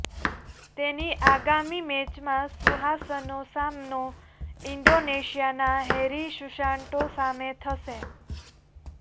તેની આગામી મેચમાં સુહાસનો સામનો ઇન્ડોનેશિયાના હેરી સુસાન્ટો સામે થશે